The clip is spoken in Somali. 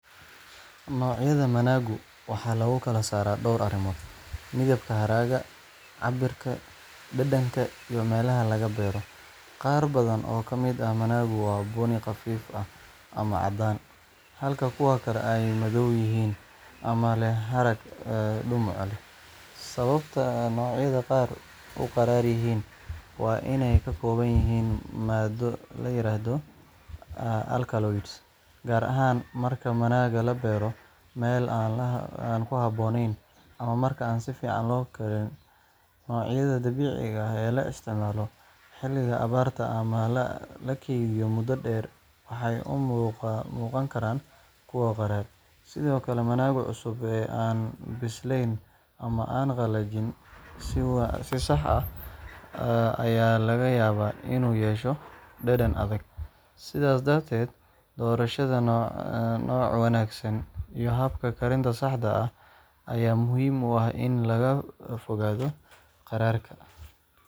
Noocyada managa waxaa lagu kala saaraa dhowr arrimood: midabka haragga, cabbirka, dhadhanka iyo meelaha laga beero. Qaar badan oo ka mid ah managu waa bunni khafiif ah ama caddaan, halka kuwo kale ay ka madow yihiin ama leh harag dhumuc leh. Sababta noocyada qaar u qadhaadh yihiin waa inay ka kooban yihiin maaddo la yiraahdo alkaloids, gaar ahaan marka managa la beero meel aan ku habboonayn, ama marka aan si fiican loo kariyin. Noocyada dabiiciga ah ee la isticmaalo xilliga abaarta ama la kaydiyo muddo dheer waxay u muuqan karaan kuwo qadhaadh. Sidoo kale, managa cusub ee aan bislayn ama aan la qalajin si sax ah ayaa laga yaabaa inuu yeesho dhadhan adag. Sidaas darteed, doorashada nooc wanaagsan iyo habka karinta saxda ah ayaa muhiim u ah in laga fogaado qadhaadhka.